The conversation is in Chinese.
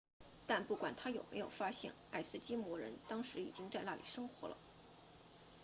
但不管他有没有发现爱斯基摩人当时已经在那里生活了